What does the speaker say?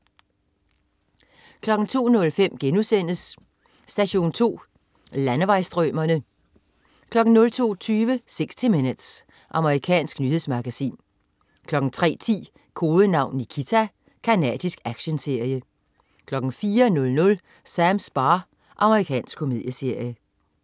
02.05 Station 2. Landevejsstrømere* 02.20 60 Minutes. Amerikansk nyhedsmagasin 03.10 Kodenavn Nikita. Canadisk actionserie 04.00 Sams bar. Amerikansk komedieserie